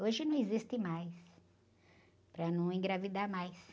Hoje não existe mais, para não engravidar mais.